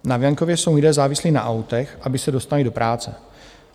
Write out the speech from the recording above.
Na venkově jsou lidé závislí na autech, aby se dostali do práce.